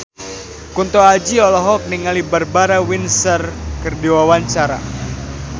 Kunto Aji olohok ningali Barbara Windsor keur diwawancara